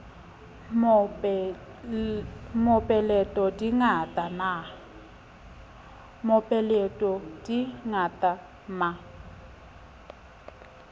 mope leto di ngata ma